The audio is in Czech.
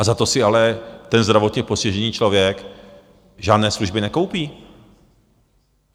A za to si ale ten zdravotně postižený člověk žádné služby nekoupí.